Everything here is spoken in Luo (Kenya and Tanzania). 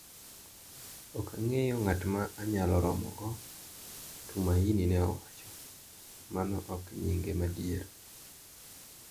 Ok ang`eyo ng`at ma anyalo romogo, Tumaini ne owacho (mano ok nyinge madier)